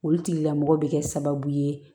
Olu tigilamɔgɔ bɛ kɛ sababu ye